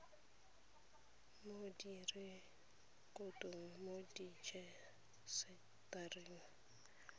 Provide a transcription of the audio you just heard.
mo direkotong mo rejisetareng ya